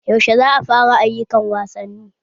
Yaushe za'a fara ayyukan wasanni?